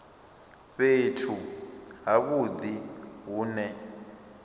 fhethu ha vhudi hu ne